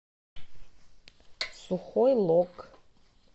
сухой лог